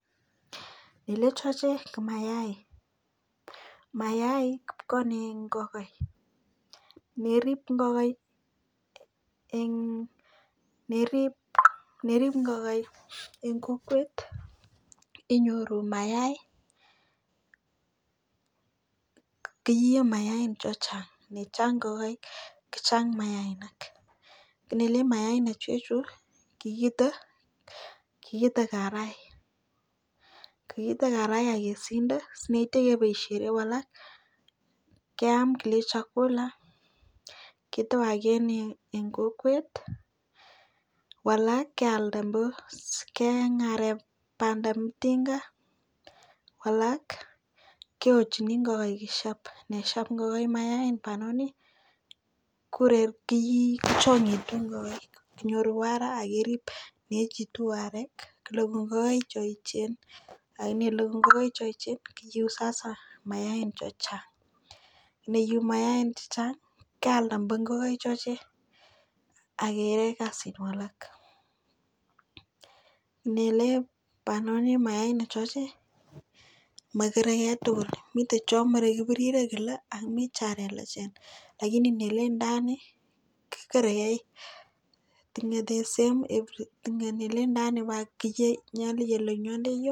ile choche ko maaik mayaik kokonin ngokaik yeirib ngokaik eng kokwet inyoru mayaik keiyoi mayai chechang ngochang ngokaik kochang mayaik nele mayaik chuchuk kikite kaabai kiite karai akisinda simeitai boisieru alak keam koek chakula kitowaken eng kokwet alak kealda keeng arek bandam tinga alak keokchin ngokaik kosyep yeshep ngokaik mayain banoni koreb ki kochangitu nyorwo ra anan kerib koekitu arek koek ngokaik cheechen kocheru sasa mayaik chechang neyu mayaik chechang kealda ngokaik choche akekas alak nele banonik choche makere kei tugul amere kiburire kele komi cho lelachen lakini nelen ndani kikere konyete kotinye the same everything chelen yondeyo.